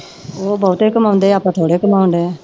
ਉਹ ਬਹੁਤੇ ਕਮਾਉਂਦੇ ਆਪਾਂ ਥੋੜ੍ਹੇ ਕਮਾਉਂਦੇ।